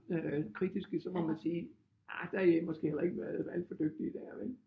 Øh kritiske så må man sige ah der har I måske heller ikke været alt for dygtige dér vel